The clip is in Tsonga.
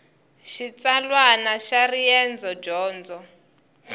xitsalwana xa riendzo dyondo